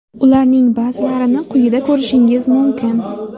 Ularning ba’zilarini quyida ko‘rishingiz mumkin.